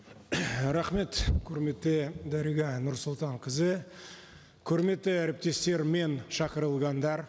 рахмет құрметті дариға нұрсұлтанқызы құрметті әріптестер мен шақырылғандар